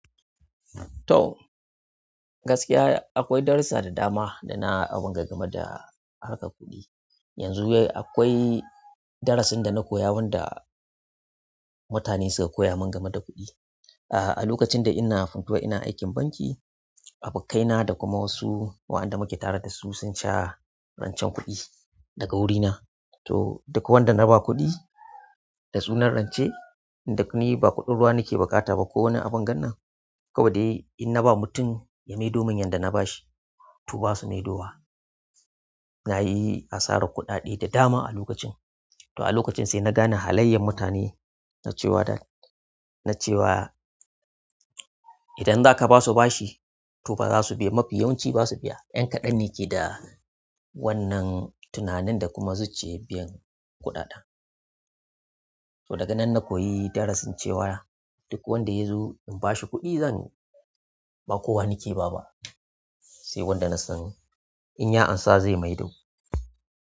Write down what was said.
To gaskiya akwai darussa da dama da na abunga game da harkar kuɗi. Yanzu akwai darasin da na koya wanda mutane suka koya min game da kuɗi. Ah a lokacin da ina Funtua ina aikin banki, abokaina da kuma wasu waɗanda muke tare da su sun sha rancen kuɗi daga wurina. To duk wanda na ba kuɗi da sunan rance, in duk ni ba kuɗin ruwa nake buƙata ba ko wani abun gannan. Kawai dai inna ba mutum ya maido min yanda na bashi, to ba su maidowa. Na yi asarar kuɗaɗe da dama a lokacin. To a lokacin sai na gane halayyar mutane, na ce wa da, na ce wa idan zaka basu bashi tofa ba za su, mafi yawanci ba su biya. Ƴan kaɗan ne keda, wannan tunanin da kuma zuciyar biya so daga nan na koyi darasin cewa duk wanda ya zo in bashi kuɗi zan ba kowa nake ba ba sai wanda na san in ya amsa zai maido.